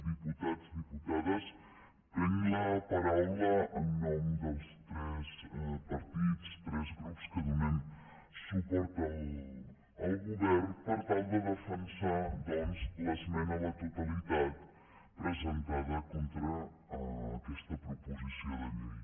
diputats diputades prenc la paraula en nom dels tres partits tres grups que donem suport al govern per tal de defensar doncs l’esmena a la totalitat presentada contra aquesta proposició de llei